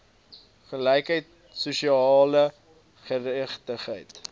gelykheid sosiale geregtigheid